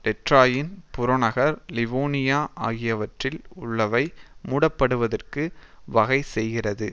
tetraene புறநகர் Livonia ஆகியவற்றில் உள்ளவை மூட படுவதற்கு வகை செய்கிறது